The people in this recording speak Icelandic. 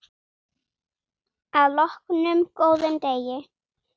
Að loknum góðum degi.